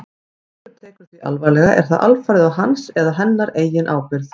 Ef einhver tekur því alvarlega er það alfarið á hans eða hennar eigin ábyrgð.